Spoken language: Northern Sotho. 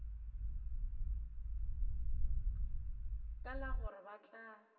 ka la gore ba tla